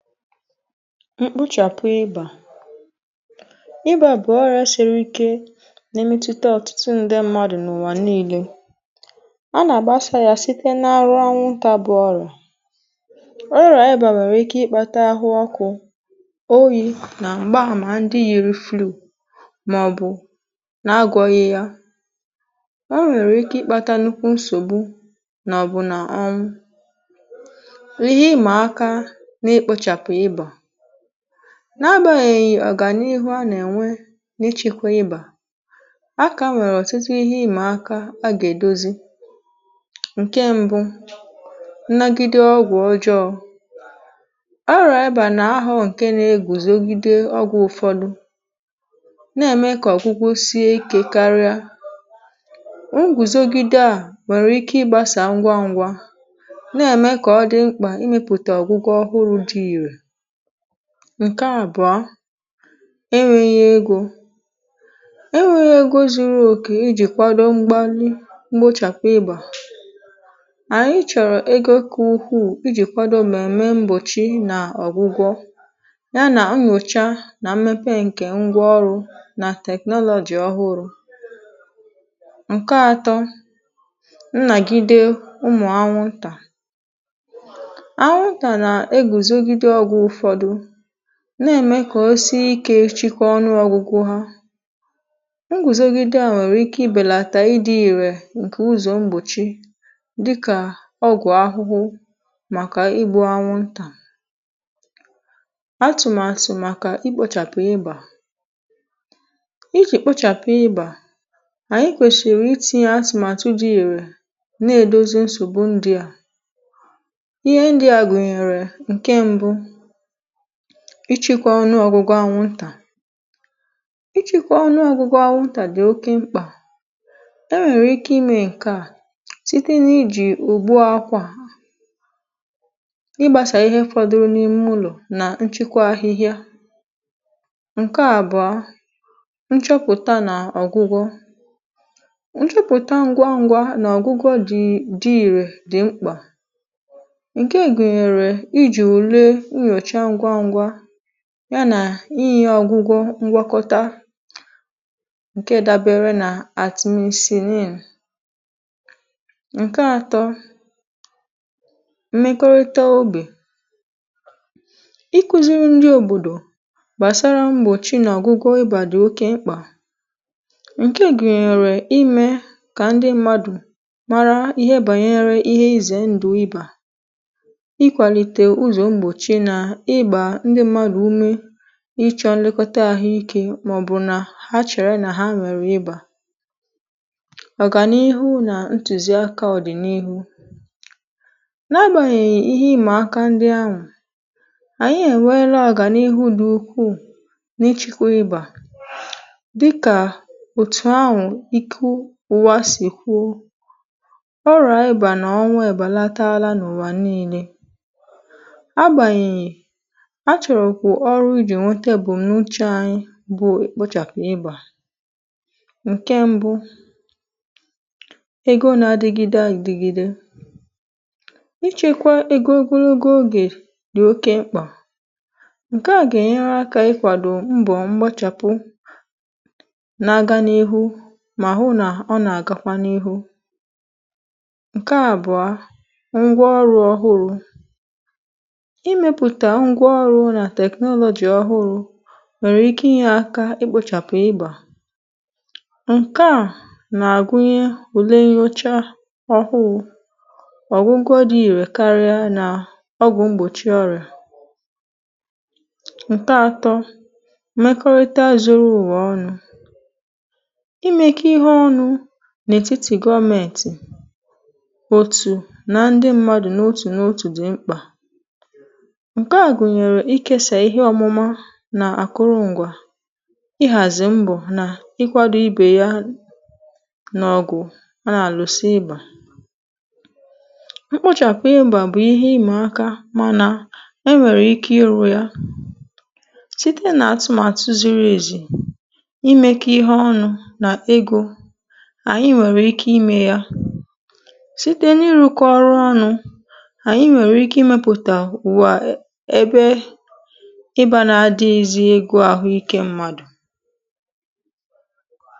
mkpuchàpụ ịbà ịbà bụ̀ ọrịȧ shere ike nà-èmetutà ọ̀tụtụ ndị mmadụ̀ n’ụ̀wà niilė ọ nà-àgbaasịrị yȧ site n’arụ ọnwụ̇ tabụ ọrụ̇ ọ rụrụ um ànyị bàbàrà ike ịkpȧta ahụ ọkụ oyi̇ nà m̀gbaàmà ndị yi refluu màọ̀bụ̀ nà agwọghị̇ ya ọ nwèrè ike ịkpȧta nukwù nsògbu nà ọbụ̇nà ọ̀m n’agà-yèghì ọ̀gànihu a nà-ènwe n’ịchị̇kwe ibà aka nwèrè ọ̀tụtụ ihe ị̣mà aka a gà-èdozi ǹkẹ̀ mbu nnagide ọgwụ̀ ọjọọ̇ ọrọ̇ ebȧ nà-ahọ̇ ǹkẹ̀ nà-egùzogide ọgwụ̇ ụ̀fọdụ nà-ème kà ọ̀gwụgwọ sie ikė karịa um ngwùzogide à nwèrè ike ịgbasa ngwa ngwa nà-ème kà ọ dị mkpà ịmị̇pụ̀tà ọgwụgwọ ọhụrụ̇ dị ǹkè àbụọ enwėghi̇ egȯ funding enwėghi̇ egȯ zuru òkè ijì kwado mgbali mgbochàpụ ịbà ànyị chọ̀rọ̀ egȯ kà ukwuu iji̇ kwado mèmme mgbòchi nà ọ̀gwụgwọ ya nà amùchaa nà mmepe ǹkè ngwa ọrụ̇ nà technology ọhụrụ ǹkè atọ ǹnàgide ụmụ̀ anwụntà na-ème kà o si ikė chikọ ọnụ̇ ọgụgụ ha ngùzogide à nwèrè ike ibèlàtà i di̇ ìrè ǹkè ụzọ̀ mgbòchi dịkà ọgwụ̀ ahụhụ màkà ibu̇ anwụntà atụ̀màsụ̀ màkà i kpọchàpụ̀ ịbà i jì kpọchàpụ̀ ịbà um ànyị kwèsìrì itinyė atụ̀màtụ dị ìrè na-èdozi nsògbu ndia ihe ndià gùnyèrè ǹke mbụ ichėkwȧ ọnụ ọ̀gụgụ anwụntà ichėkwȧ ọnụ ọ̀gụgụ anwụntà dì oke mkpà e nwèrè ike imė ǹkeà site nà ijì ùbu akwà ịgbȧsà ihe fọduru n’ime ụlọ̀ nà nchekwa ahịhịa ǹke à bụ̀ọ nchọpụ̀ta nà ọ̀gụgọ̇ nchọpụ̀ta ǹgwaǹgwa nà ọ̀gụgọ dị̇ dị̇rè dì mkpà ya nà iyi̇ ọgụgọ ngwakọta ǹke dabere nà atịmesi neelì ǹke atọ mmekọrịta ogbè iku̇ziri ndị òbòdò gbàsara mgbòchi nà ọgụgọ ịbà dị̀ oke mkpà ǹke gùnyèrè imė kà ndị mmadù mara ihe bànyere ihe izè ndụ̀ ịbà ịchọ̇ nlẹkọta àhụ ikė màọ̀bụ̀ nà ha chèrè nà ha nwẹ̀rẹ̀ ịbà ọ̀ gà n’ihu nà ntùzi aka ọ̀dị̀n’ihu n’agbànyị̀ yà ihe ị̀mà aka ndị anwụ̇ ànyị ènweela àgà n’ihu dị̇ ukwuu n’ịchịkwa ịbà dịkà òtù anwụ̀ ịkụ̇ ụwa sì kwuo ọrà abà nà ọnwa ị̀bàlataala n’ụbà niilė a chọ̀rọ̀ kwà ọrụ jì nwete bụ̀ m̀nuchè anyị bụ èkpochàpụ̀ ịbà ǹkè mbụ egȯ n’adịgide idigide ịchekwa egogologo ogè dị̀ oke mkpà ǹke à gà-ènyere akȧ ikwàdò mbọ̀ mgbochàpụ na-aga n’ihu mà hụ nà ọ nà-àgakwa n’ihu ǹkè àbụọ ngwa ọrụ̇ ọhụrụ̇ ǹkeà wụ̀ nà teknọ̀lọ̀jì ọhụrụ nwèrè ike inye akȧ i kpȯchàpụ̀ ịgbà ǹkeà nà-àgụnye ùle nyocha ọhụrụ̇ ọ̀gụgụdụ ìrè karịa nà ọgwụ̀ mgbòchi ọrị̀à ǹkeà atọ̇ mmekọrịta zoro ùwà ọnụ̇ imėkė ihe ọnụ̇ n’ètitì gọmentì otù na ndi mmadụ̀ n’otù n’otù di mkpà nà àkụrụ ǹgwà ihàzì mbọ̀ nà ịkwȧdȯ ibè ya n’ọgwụ̀ a nà àlụsị ịbà mkpuchàpụ ya bà bụ̀ ihe imè aka manȧ e nwèrè ike ịrụ̇ ya site n’atụmàtụ ziri èzì imė kà ihe ọnụ̇ nà egȯ ànyị nwèrè ike imė ya site n’iru̇kọ ọrụ ọnụ̇ ànyị nwèrè ike imėpụ̀tà ịbà na-adị̇ghị̇ zi egȯ ahụ ikė mmadụ̀.